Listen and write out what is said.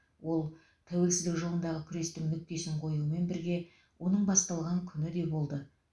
ол тәуелсіздік жолындағы күрестің нүктесін қоюмен бірге оның басталған күні де болды